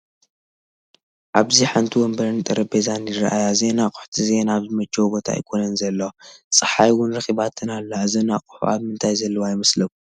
ኣብዚ ሓንቲ ወንበርን ጠረጼዛይ ይራኣያ እዚአን ኣቕሑት እዚአን ኣብ ዝመቸወ ቦታ ኣይኮን ዘለዋ፡፡ ፀሓፍ ውን ረኺባተን ኣላ፡፡ እዘን ኣቑሑ ኣብ ምንታይ ዘለዋ ይመስለኩም?